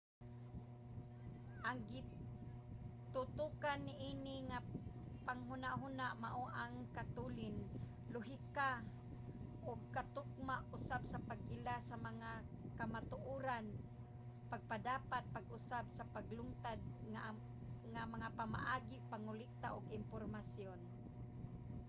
ang gitutokan niini nga panghunahuna mao ang katulin lohika ug katukma usab pag-ila sa mga kamatuoran pagpadapat pag-usab sa naglungtad nga mga pamaagi ug pangolekta og impormasyon